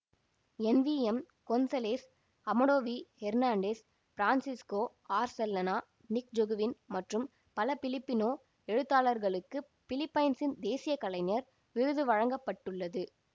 என் V M Gonzalez Amado V Hernandez Francisco Arcellana Nick Joaquin மற்றும் பல Filipino எழுத்தாளர்களுக்குப் பிலிப்பைன்சின் தேசிய கலைஞர் விருது வழங்க பட்டுள்ளது